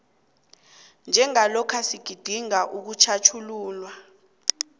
njengalokha sigidinga ukutjhatjhululwa